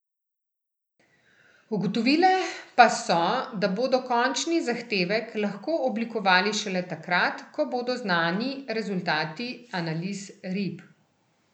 Ugotovile pa so, da bodo končni zahtevek lahko oblikovali šele takrat, ko bodo znani rezultati analiz rib.